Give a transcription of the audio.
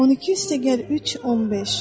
12 + 3 = 15.